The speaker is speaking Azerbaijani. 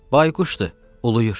Bayquşdur, uluyur.